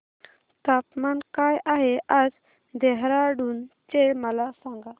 तापमान काय आहे आज देहराडून चे मला सांगा